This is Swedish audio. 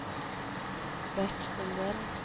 Bert Sundell